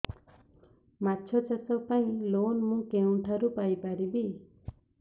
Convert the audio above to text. ମାଛ ଚାଷ ପାଇଁ ଲୋନ୍ ମୁଁ କେଉଁଠାରୁ ପାଇପାରିବି